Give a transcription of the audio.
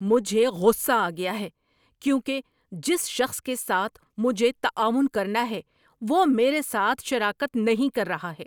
مجھے غصہ آ گیا ہے کیونکہ جس شخص کے ساتھ مجھے تعاون کرنا ہے وہ میرے ساتھ شراکت نہیں کر رہا ہے۔